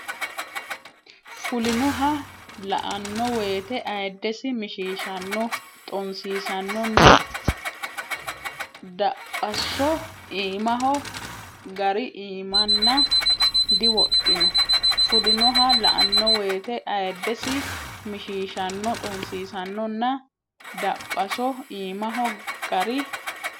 Fulinoha la anno woyte ayiddesi mishiishanno xonsiisannonna Daphaso iimaho gari imaana diwodhino Fulinoha la anno woyte ayiddesi mishiishanno xonsiisannonna Daphaso iimaho gari.